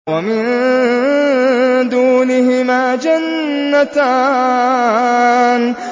وَمِن دُونِهِمَا جَنَّتَانِ